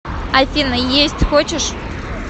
афина есть хочешь